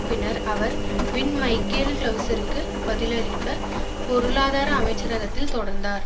பின்னர் அவர் வின் மைக்கேல் கிளவுஸிற்கு பதிலாக பொருளாதார அமைச்சரகத்தில் தொடர்ந்தார்